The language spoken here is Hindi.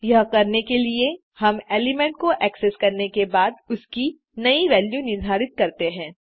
यह करने के लिए हम एलिमेंट को एक्सेस करने के बाद उसकी नयी वैल्यू निर्धारित करते हैं